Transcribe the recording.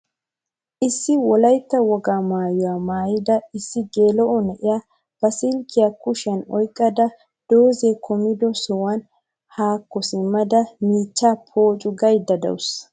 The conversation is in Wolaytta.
Issi wolaytta woga maayuwa maayida issi gela7o naa7iya ba silkiya kushiyan oyqqada doozay kummido sohuwan hakko simmada michchaa pooccuu gaydda de7awusu.